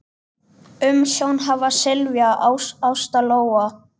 Umsjón hafa Silvía, Ásta Lóa.